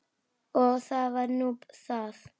Og það var nú það.